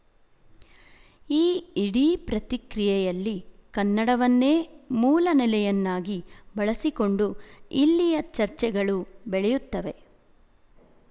ಈ ಇಡೀ ಪ್ರತಿಕ್ರಿಯೆಯಲ್ಲಿ ಕನ್ನಡವನ್ನೇ ಮೂಲ ನೆಲೆಯನ್ನಾಗಿ ಬಳಸಿಕೊಂಡು ಇಲ್ಲಿಯ ಚರ್ಚೆಗಳು ಬೆಳೆಯುತ್ತವೆ